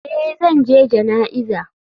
Eh zan je jana'iza.